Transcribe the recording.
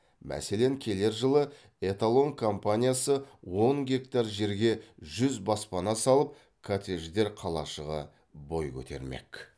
мәселен келер жылы эталон компаниясы он гектар жерге жүз баспана салып коттедждер қалашығы бой көтермек